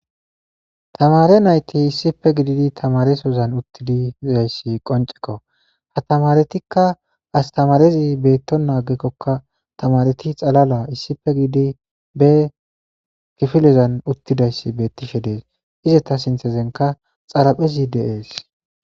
tamare nayti issipe gididi tamaresozan uttididayssi qoncekko ha tamaretikka astamarezi beetto naagekkokka tamareti xalala issipe giidi be kifilezan uttidayssi beettishe dees izeta sinthezenka xaraphezi deees